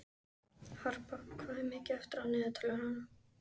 Skemmtileg Kíkir þú oft á Fótbolti.net?